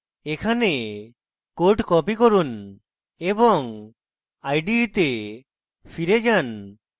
এখানে code copy করুন এবং ide তে ফিরে যান